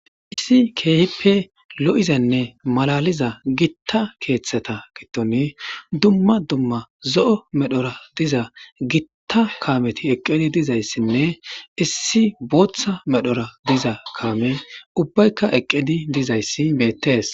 Issi keehippe lo'izanne malaliza gitta keeththeta gitoni dumma dumma zo'o medhora diza gitta kaameti eqqedi dizayssinne issi booththa medhora diza kaame ubbaykka eqqidi dizayssi bettees.